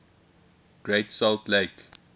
great salt lake